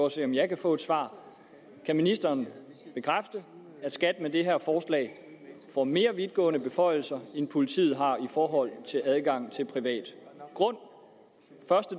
at se om jeg kan få et svar kan ministeren bekræfte at skat med det her forslag får mere vidtgående beføjelser end politiet har i forhold til adgangen til privat grund